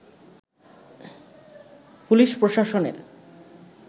police প্রশাসনের